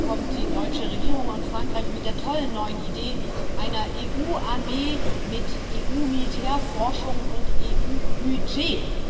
Diese Woche kommen die deutsche Regierung und Frankreich mit der tollen neuen Idee einer EU-Armee mit EU-Militärforschung und EU-Budget.